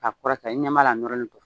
A kɔrɔ ta i ɲɛ b'a la a nɔrɔlen do.